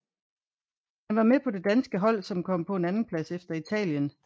Han var med på det danske hold som kom på en andenplads efter Italien